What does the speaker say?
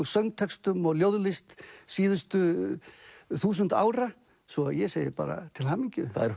söngtextum og ljóðlist síðustu þúsund ára svo ég segi bara til hamingju það er